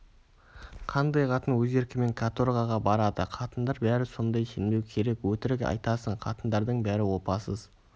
қандай қатын өз еркімен каторгаға барады қатындар бәрі сондай сенбеу керек өтірік айтасың қатындардың бәрі опасыз